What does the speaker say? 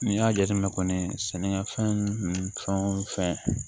N'i y'a jateminɛ kɔni sɛnɛkɛfɛn wo fɛn